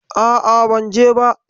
A'a, ban je ba.